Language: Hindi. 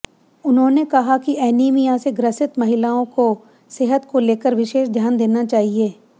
उन्होंने कहा कि एनीमिया से ग्रसित महिलाओं के सेहत को लेकर विशेष ध्यान देना चाहिए